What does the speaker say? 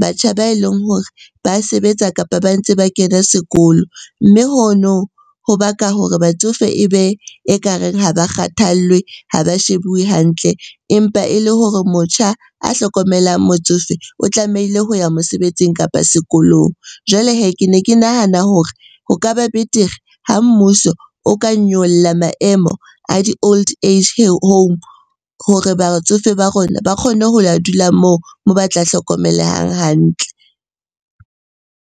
batjha ba e leng hore ba sebetsa, kapa ba ntse ba kena sekolo. Mme hono ho baka hore batsofe e be e ka reng ha ba kgathallwe, ha ba shebuwe hantle empa e le hore motjha a hlokomelang motsofe o tlamehile ho ya mosebetsing, kapa sekolong. Jwale hee, ke ne ke nahana hore ho ka ba betere ha mmuso o ka nyolla maemo a di-old age home hore batsofe ba rona ba kgone ho ya dula moo, moo ba tla hlokomelehang hantle.